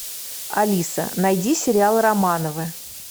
алиса найди сериал романовы